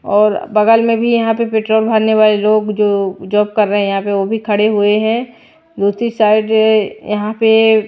और बगल में भी यहां पे पेट्रोल भरने वाले लोग जो जॉब कर रहे हैं यहां पे वो भी खड़े हुए हैं दूसरी साइड यहां पे।